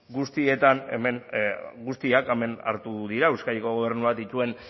guztiak hemen hartu dira euskadiko gobernuak dituen